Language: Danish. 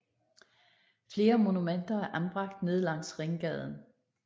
Flere monumenter er anbragt ned langs ringgaden